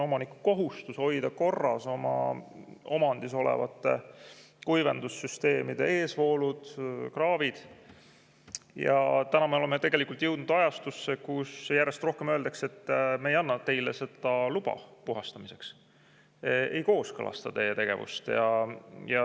Omaniku kohustus on hoida korras oma omandis olevate kuivendussüsteemide eesvoolud, kraavid, aga nüüd me oleme jõudnud ajastusse, kus järjest rohkem öeldakse: "Me ei anna teile luba puhastamiseks, me ei kooskõlasta teie tegevust.